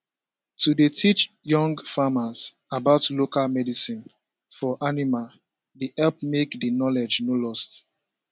to dey teach young farmers about local medicine for animal dey help make the knowledge no lost